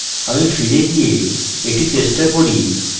আমি ফিরে গিয়ে এটি চেষ্টা করি